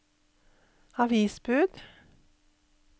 avisbud